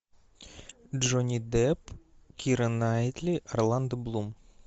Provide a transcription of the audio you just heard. джонни депп кира найтли орландо блум